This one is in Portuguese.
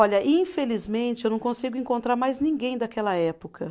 Olha, infelizmente, eu não consigo encontrar mais ninguém daquela época.